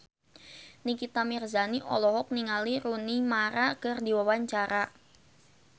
Nikita Mirzani olohok ningali Rooney Mara keur diwawancara